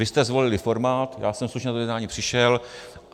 Vy jste zvolili formát, já jsem slušně na to jednání přišel.